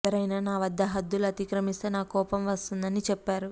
ఎవరైనా నా వద్ద హద్దులు అతిక్రమిస్తే నాకు కోపం వస్తుంది అని చెప్పారు